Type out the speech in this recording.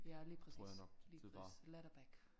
Ja lige præcis lige ladder back